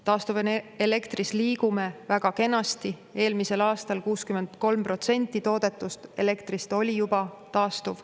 Taastuvelektri vallas me liigume väga kenasti, eelmisel aastal 63% toodetud elektrist oli juba taastuv.